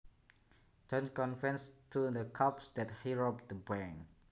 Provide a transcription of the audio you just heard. John confessed to the cops that he robbed the bank